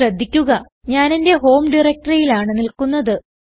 ശ്രദ്ധിക്കുക ഞാൻ എന്റെ ഹോം directoryയിലാണ് നിൽക്കുന്നത്